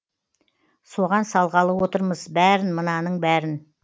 соған салғалы отырмыз бәрін мынаның бәрін